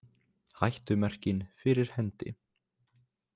Hættumerkin fyrir hendi